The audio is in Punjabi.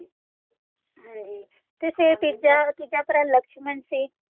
ਤੇ ਫੇਰ ਤੀਜਾ ਭਰਾ ਲਕਸ਼ਮਨ ਸੀ